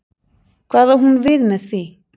Hvað á hún við með því?